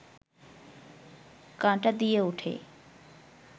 কাঁটা দিয়ে ওঠে